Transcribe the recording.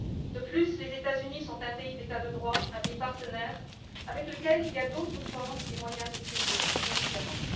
De plus, les États Unis sont un État de droit, un pays partenaire avec lequel il y a d'autres formes et moyens de traiter nos différends.